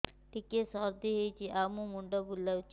ଟିକିଏ ସର୍ଦ୍ଦି ହେଇଚି ଆଉ ମୁଣ୍ଡ ବୁଲାଉଛି